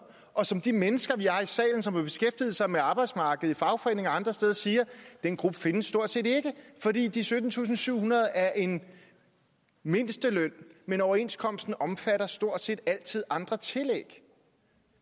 og som de mennesker vi har i salen som har beskæftiget sig med arbejdsmarkedet i fagforeninger og andre steder siger den gruppe findes stort set ikke fordi de syttentusinde og syvhundrede er en mindsteløn men overenskomsten omfatter stort set altid andre tillæg